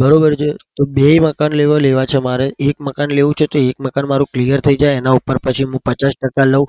બરોબર છે? તો બે એ મકાન લેવા છે મારે એક મકાન લેવું છે તો એક મકાન મારું clear થઇ જાય તો એનાં ઉપર પછી હું પચાસ ટકા લઉં.